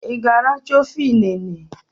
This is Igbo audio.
I g'aracha ofe inene?